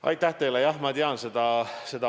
Aitäh teile!